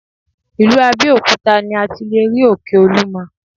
Ìlú Abeokuta ni a ti lé rí òkè olúmo.